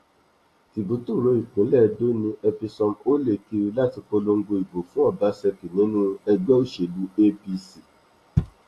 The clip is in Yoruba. tìbú tóóró ìpínlẹ edo ni episomhole kiri láti polongo ìbò fún ọbasákì nínú ẹgbẹ òsèlú apc